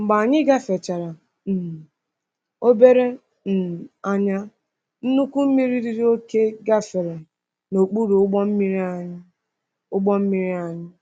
Mgbe anyị gafechara um obere um anya, nnukwu mmiri riri oke gafere n’okpuru ụgbọ mmiri anyị. ụgbọ mmiri anyị.